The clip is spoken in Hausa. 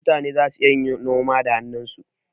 Mutane zasu iya yin noma da hannunsu.